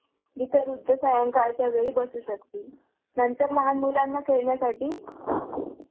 जिथं वृद्ध सायंकाळच्या वेळी बसू शकतील नंतर लहान मुलांना खेळण्यासाठी